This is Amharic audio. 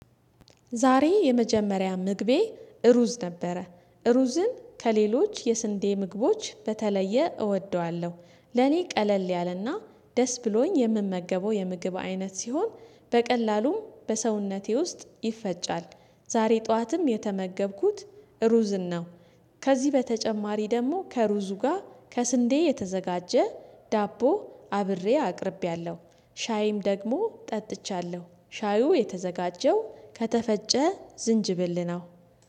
ዛሬ የመጀመሪያ ምግቤ እሩዝ ነበረ እሩዝን ከሌሎች የስንዴ ምግቦች በተለየ እወደዋለሁ። ለኔ ቀለል ያለና ደስ ብሎኝ የምመገበው የምግብ አይነት ሲሆን በቀላሉም በሰውነቴ ውስጥ ይፈጫል። ዛሬ ጠዋትም የተመገብኩት ሩዝን ነው፤። ከዚህ በተጨማሪ ደግሞ ከሩዙ ጋር ከስንዴ የተዘጋጀ ዳቦ አብሬ አቅርቤያለሁ። ሻይም ደግሞ ጠጥቻለሁ ሻዩ የተዘጋጀው ከተፈጨ ዝንጅብል ነው፤